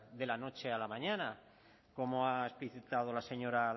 de la noche a la mañana como ha explicitado la señora